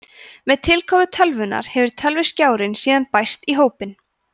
með tilkomu tölvunnar hefur tölvuskjárinn síðan bæst í hópinn